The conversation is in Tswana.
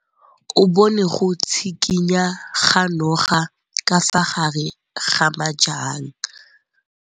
O bone go tshikinya ga noga ka fa gare ga majang.